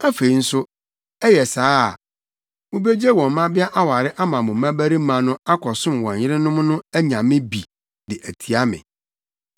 Afei nso, ɛyɛ saa a, mubegye wɔn mmabea aware ama mo mmabarima no akɔsom wɔn yerenom no anyame bi de atia me.